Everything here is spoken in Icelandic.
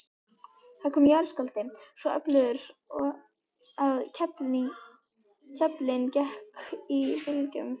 Það kom jarðskjálfti, svo öflugur að klefinn gekk í bylgjum.